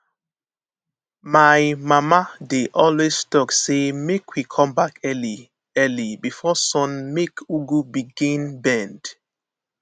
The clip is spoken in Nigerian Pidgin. my mama dey always talk say make we come back early early before sun make ugu begin bend